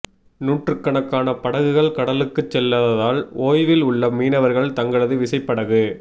நூற்றுக்கணக்கான படகுகள் கடலுக்கு செல்லாததால் ஓய்வில் உள்ள மீனவர்கள் தங்களது விசைப்படகு